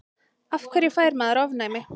af hverju fær maður ofnæmi